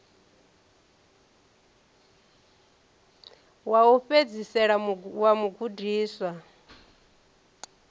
wa u fhedzisela wa mugudiswa